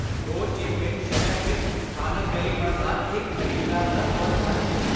ਹੋ Chi Minh ਸ਼ਹਿਰ ਵਿੱਚ ਸਥਾਨਕ ਗਲੀ ਬਾਜ਼ਾਰ ਇੱਕ ਖ਼ਰੀਦਦਾਰ ਦਾ ਸਵਰਗ ਹਨ।